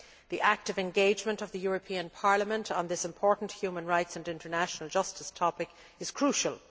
The active engagement of the European Parliament on this important human rights and international justice topic is crucial.